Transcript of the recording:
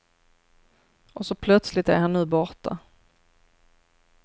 Och så plötsligt är han nu borta.